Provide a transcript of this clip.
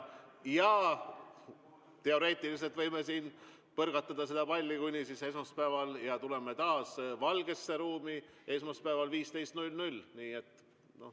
Ja teoreetiliselt võime siin põrgatada seda palli kuni esmaspäevani, ja tuleme taas valgesse ruumi esmaspäeval kell 15.